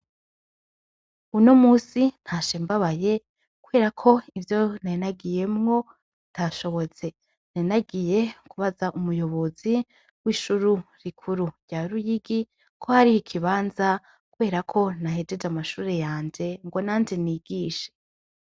Uno musi ntashe mbabaye kubera ko ivyo narinagiyemwo bitashobotse .Narinagiye kubaza umuyobozi w'ishure rikuru rya ruyigi ko hariho ikibanza kuberako nahejeje amashure yanje ngo nanje nigishe.